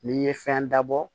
N'i ye fɛn dabɔ